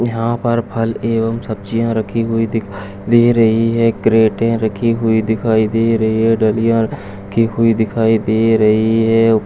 यहाँ पर फल एवं सब्जियाँ रखी हुई दिखाई दे रही हैं क्रैटे रखी हुई दिखाई दे रही हैं ढलिया रखी हुई दिखाई दे रही है।